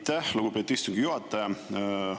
Aitäh, lugupeetud istungi juhataja!